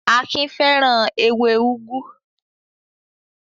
Akin fẹ́ràn ewé úgú.